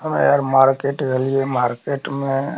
अबे यार मार्किट गेल्ये मार्केट में --